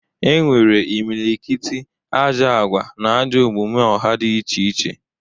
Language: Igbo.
E nwere imilikiti ajọ agwa na ajọ omume ọha dị iche iche.